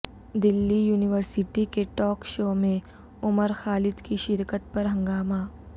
دلی university کے talk show میں عمر خالد کی شرکت پر ہنگامہ